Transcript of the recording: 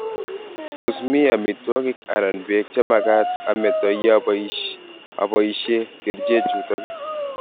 Tos mii amitwogik anan beek chemagaat ameto ye amii aboishee kercheek chutok.